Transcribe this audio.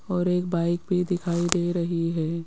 और एक बाइक भी दिखाई दे रही है।